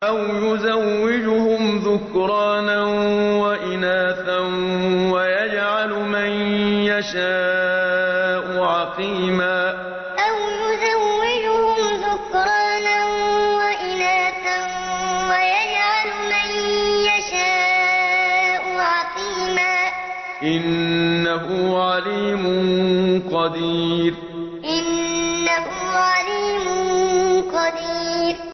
أَوْ يُزَوِّجُهُمْ ذُكْرَانًا وَإِنَاثًا ۖ وَيَجْعَلُ مَن يَشَاءُ عَقِيمًا ۚ إِنَّهُ عَلِيمٌ قَدِيرٌ أَوْ يُزَوِّجُهُمْ ذُكْرَانًا وَإِنَاثًا ۖ وَيَجْعَلُ مَن يَشَاءُ عَقِيمًا ۚ إِنَّهُ عَلِيمٌ قَدِيرٌ